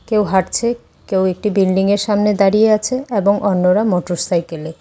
কেউ হাঁটছে কেউ একটি বিল্ডিংয়ের সামনে দাঁড়িয়ে আছে এবং অন্যরা মোটরসাইকেলে।